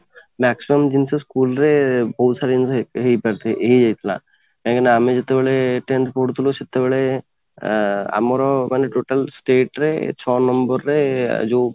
maximum ଜିନିଷ school ରେ ବହୁତ ସାରା ଜିନିଷ ହେଇ ହେଇପାରୁଛି କାହିଁକି ନା ଆମେ ଯେତେବେଳେ tenth ପଢ଼ୁଥିଲୁ ସେତେବେଳେ ଆଁ ଆମର ମାନେ total state ରେ ଛ ନମ୍ବର ରେ ଯୋଉ